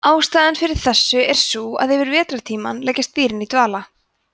ástæðan fyrir þessu er sú að yfir vetrartímann leggjast dýrin í dvala